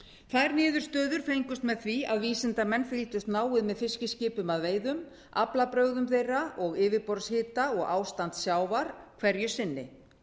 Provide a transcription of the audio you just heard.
þær niðurstöður fengust með því að vísindamenn fylgdust náið með fiskiskipum að veiðum aflabrögðum þeirra og yfirborðshita og ástandi sjávar hverju sinni